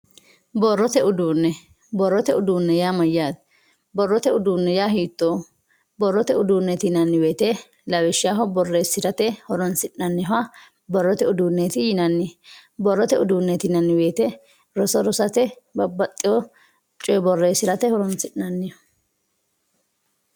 borrote uduunne borrote uduunne yaa mayyate borrote uduunni hiitooho borrote uduunneeti yinanni woyte lawishshaho borreessirate horoonsi'nanniha borrote uduunneeti yinanni borrote uduunneeti yinanni woyte roso rosate babbaxewo coye borreessirate horoonsi'nanniho